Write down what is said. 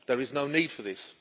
There is no need for this.